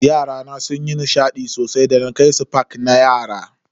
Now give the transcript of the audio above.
Yarana sunyi nishadi sosai da na kai su park na yara.